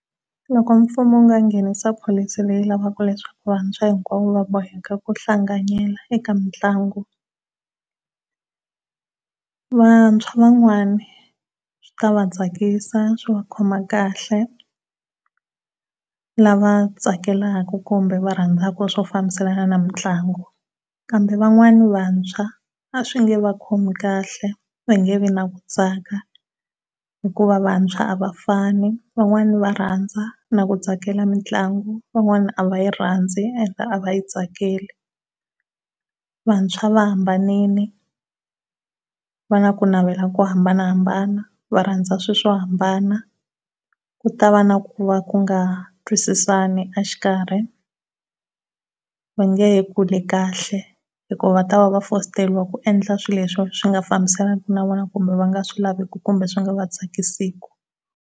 Loko mfumo u nga nghenisa policy leyi lavaka leswaku vantshwa hinkwavo va boheka ku hlanganyela eka mitlangu. Vantshwa van'wana swi ta va tsakisa swi va khoma kahle lava tsakelaka kumbe va rhandzaka swo fambiselana na mitlangu. Kambe van'wani vantshwa a swi nge va khomi kahle va nge vi ni ku tsaka hikuva vantshwa a va fani van'wana va rhandza na ku tsakela mitlangu van'wana a va yi rhandzi a heta a va yi tsakeli. Vantshwa va hambanile va na ku navela ko hambanahambana va rhandza swilo swo hambana ku ta va na ku va ku nga twisisani exikarhi, ku nge he kuli kahle hikuva va ta va foster ku endla swilo leswi swinga fambisaniku na vona kumbe va nga swilaveki kumbe swi nga tsakisiki.